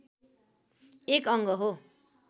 एक अङ्ग हो